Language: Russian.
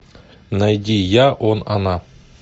найди я он она